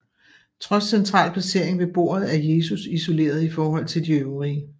Trods central placering ved bordet er Jesus isoleret i forhold til de øvrige